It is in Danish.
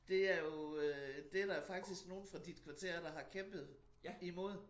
Det er jo øh det der faktisk nogen fra dit kvarter der har kæmpet imod